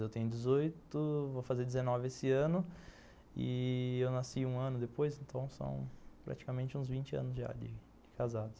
Eu tenho dezoito, vou fazer dezenove esse ano e eu nasci um ano depois, então são praticamente uns vinte anos já de de casados.